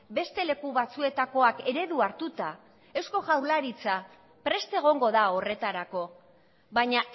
beste leku batzuetakoak eredu hartuta eusko jaurlaritza prest egongo da horretarako baina